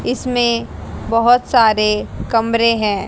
इसमें बहुत सारे कमरे हैं।